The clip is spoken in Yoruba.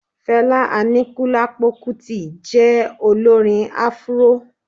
Fẹlá Aníkúlápó Kútì jẹ́ Olórin Afuró